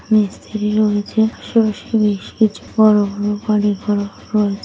মিস্ত্রি রয়েছে শুনছি বেশ কিছু বড়ো বড়ো বাড়িঘর হল রয়ে--।